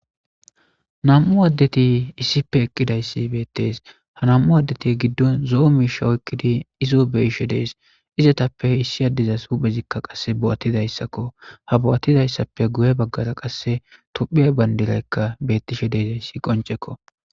nam7u addeti issipe eqqidayssi beettees ha nam7u addeti giddon zoomishawoykkidi izo beishe dees izatappe issi addizas huphezikka qasse bo7attidayssakko ha bo7attidayssappe guye baggara qasse tophiya bandilaykka bettishe deezayssi qoncekko.